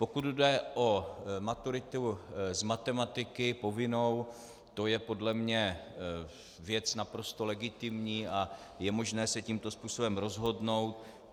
Pokud jde o maturitu z matematiky, povinnou, to je podle mne věc naprosto legitimní a je možné se tímto způsobem rozhodnout.